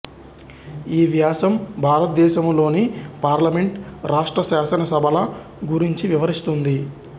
ఈ వ్యాసం భారతదేశంలోని పార్లమెంట్ రాష్ట్ర శాసనసభల గురించి వివరిస్తుంది